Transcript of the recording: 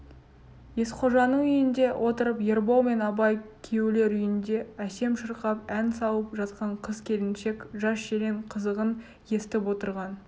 есқожаның үйінде отырып ербол мен абай күйеулер үйінде әсем шырқап ән салып жатқан қыз-келіншек жас-желең қызығын естіп отырған